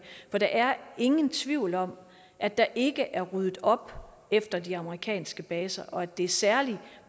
for der er ingen tvivl om at der ikke er ryddet op efter de amerikanske baser og at det er særlig